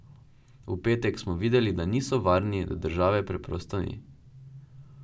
V petek smo videli, da niso varni, da države preprosto ni.